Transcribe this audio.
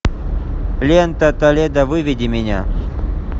лента толедо выведи меня